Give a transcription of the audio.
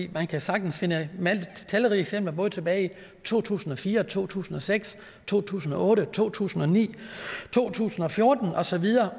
man kan sagtens finde talrige eksempler både tilbage i to tusind og fire to tusind og seks to tusind og otte to tusind og ni to tusind og fjorten og så videre